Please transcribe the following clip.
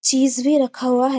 चीज़ भी रखा हुआ है|